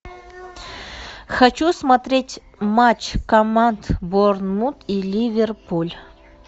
хочу смотреть матч команд борнмут и ливерпуль